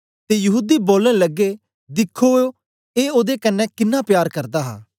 ते यहूदी बोलन लगे दिखो ऐ ओदे कन्ने किनां प्यार करदा हा